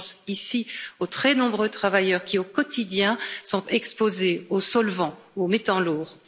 Je pense ici aux très nombreux travailleurs qui, au quotidien, sont exposés aux solvants ou aux métaux lourds.